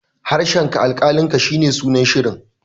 harshenka alkalinka shi ne sunan shirin